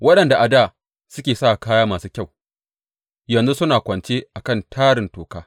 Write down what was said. Waɗanda a dā suke sa kaya masu kyau yanzu suna kwance a kan tarin toka.